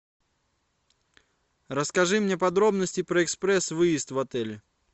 расскажи мне подробности про экспресс выезд в отеле